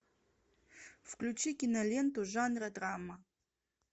включи киноленту жанра драма